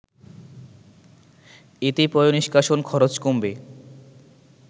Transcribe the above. এতে পয়:নিষ্কাষণ খরচ কমবে